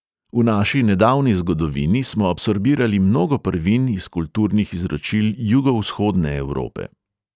V naši nedavni zgodovini smo absorbirali mnogo prvin iz kulturnih izročil jugovzhodne evrope.